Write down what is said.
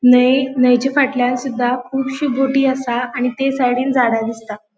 न्हय न्हय चे फाटल्यान सुद्धा कुबशी बोटी असा आणि तै साइडीन झाडा दिसता.